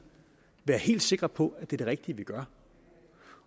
være helt sikre på at det er det rigtige vi gør